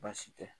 Baasi tɛ